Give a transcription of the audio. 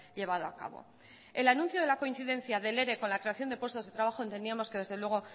llevado a cabo el anuncio de la coincidencia del ere con la creación de puestos de trabajo entendíamos que desde luego